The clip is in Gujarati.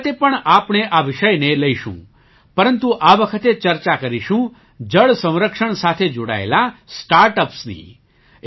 આ વખતે પણ આપણે આ વિષયને લઈશું પરંતુ આ વખતે ચર્ચા કરીશું જળ સંરક્ષણ સાથે જોડાયેલાં સ્ટાર્ટ અપ્સની